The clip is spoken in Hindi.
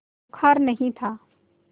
बुखार नहीं था